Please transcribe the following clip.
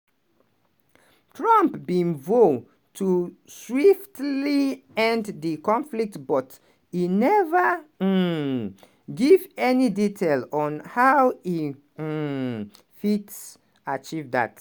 trump bin vow to swiftly end di conflict but e neva um give any detail on how e um fit achieve dat.